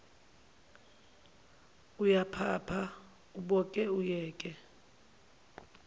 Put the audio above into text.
uyaphapha uboke uyeke